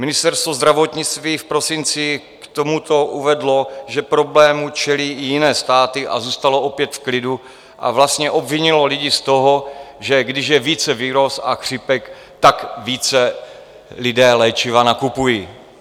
Ministerstvo zdravotnictví v prosinci k tomuto uvedlo, že problému čelí i jiné státy, a zůstalo opět v klidu a vlastně obvinilo lidi z toho, že když je více viróz a chřipek, tak více lidé léčiva nakupují.